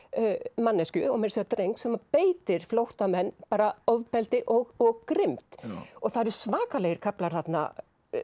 manneskju og meira að segja dreng sem beitir flóttamenn ofbeldi og grimmd og það eru svakalegir kaflar þarna